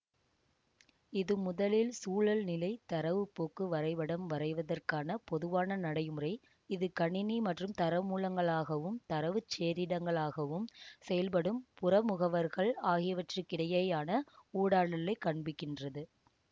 இது முதலில் சூழல்நிலை தரவு போக்கு வரைபடம் வரைவதற்கான பொதுவான நடைமுறை இது கணினி மற்றும் தரமூலங்களாகவும் தரவுச் சேரிடங்களாகவும் செயல்படும் புற முகவர்கள் ஆகியவற்றுக்கிடையேயான ஊடாடலைக் காண்பிக்கின்றது